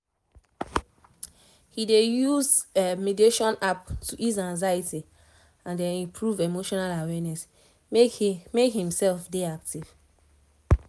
he dey use mediation app to ease anxiety and improve emotional awareness make himself dey active